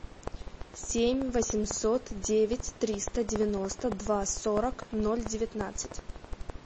семь восемьсот девять триста девяносто два сорок ноль девятнадцать